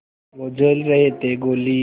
वो झेल रहे थे गोली